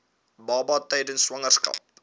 baba tydens swangerskap